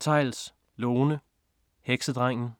Theils, Lone: Heksedrengen